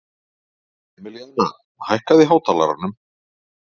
Emilíana, hækkaðu í hátalaranum.